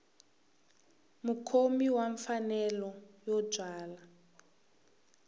mukhomi wa mfanelo yo byala